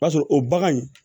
O b'a sɔrɔ o bagan in